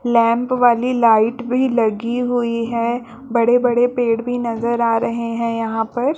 lamp वाली light भी लगी हुई है बड़े-बड़े पेड़ भी नजर आ रहे है यहाँ पर --